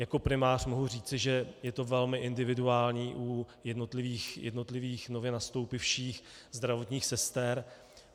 Jako primář mohu říci, že je to velmi individuální u jednotlivých nově nastoupivších zdravotních sester.